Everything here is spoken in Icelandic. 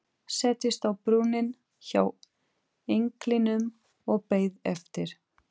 Settist á brunninn hjá englinum og beið eftir